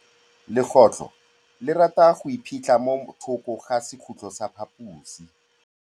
Legôtlô le rata go iphitlha mo thokô ga sekhutlo sa phaposi.